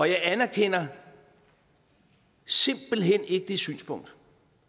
jeg anerkender simpelt hen ikke det synspunkt